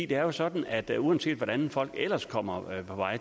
det er sådan at uanset hvordan folk ellers kommer